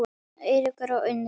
Eiríkur og Unnur.